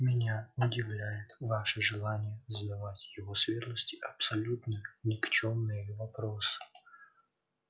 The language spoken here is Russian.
меня удивляет ваше желание задавать его светлости абсолютно никчёмные вопросы